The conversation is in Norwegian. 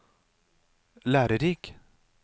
lærerik